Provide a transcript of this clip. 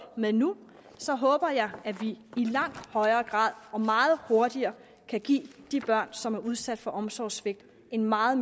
med nu håber jeg at vi i langt højere grad og meget hurtigere kan give de børn som er udsat for omsorgssvigt en meget